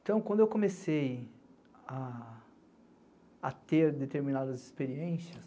Então, quando eu comecei a ter determinadas experiências,